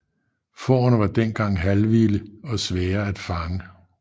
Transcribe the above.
Fårene var dengang halvvilde og svære at fange